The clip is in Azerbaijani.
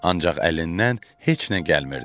Ancaq əlindən heç nə gəlmirdi.